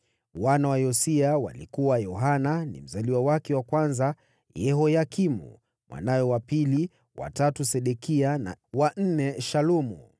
Wana wa Yosia walikuwa: Yohanani mzaliwa wake wa kwanza, Yehoyakimu mwanawe wa pili, wa tatu Sedekia, wa nne Shalumu.